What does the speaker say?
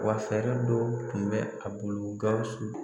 Wa fɛɛrɛ dɔ tun bɛ a bolo GAWUSU